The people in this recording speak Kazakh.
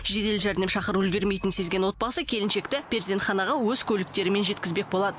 жедел жәрдем шақырып үлгермейтінін сезген отбасы келіншекті перзентханаға өз көліктерімен жеткізбек болады